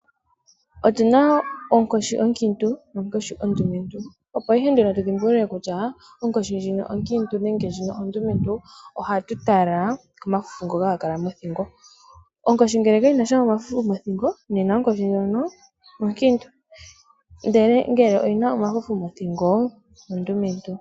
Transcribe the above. Otuna oonkoshi oonkiintu noonkoshi oondumentu, opo ihe nduno tudhi mbulule kutya onkoshi ndjino onkiintu nenge ndjino ondumentu ohatu tala komafufu ngono haga kala mothingo. Onkoshi ngele kayi nasha omafufu mothingo nena onkoshi ndjono onkiintu ndele ngele oyina omafufu mothingo ondumentu.